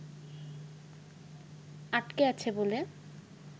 আটকে আছে বলে